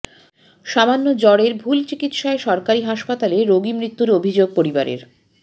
সামান্য জ্বরের ভুল চিকিৎসায় সরকারি হাসপাতালে রোগী মৃত্যুর অভিযোগ পরিবারের